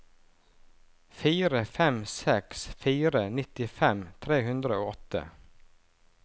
fire fem seks fire nittifem tre hundre og åtte